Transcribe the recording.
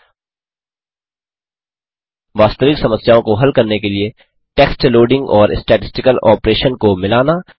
2वास्तविक समस्याओं को हल करने के लिए टेक्स्ट लोडिंग और स्टैटिस्टिकल ऑपरेशन को मिलाना